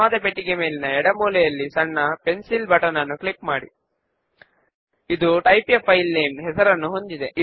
label పైన double click చేస్తే అది దాని యొక్క ప్రాపర్టీస్ ను చూపిస్తుంది